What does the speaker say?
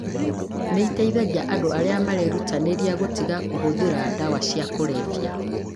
nĩ iteithagia andũ arĩa marerutanĩria gũtiga kũhũthĩra ndawa cia kũrebia.